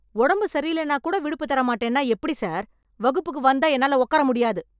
உடம்பு சரியில்லேன்னா கூட விடுப்பு தர மாட்டேன்னா எப்படி சார்? வகுப்புக்கு வந்தா என்னால உட்கார முடியாது.